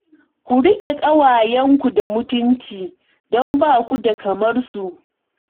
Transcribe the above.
Ku riƙe ƙwayenku da mutunci don ba ku da kamar su